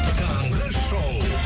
таңғы шоу